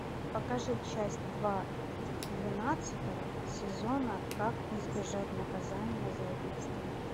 покажи часть два двенадцатого сезона как избежать наказания за убийство